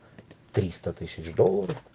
тристо тысяч долларов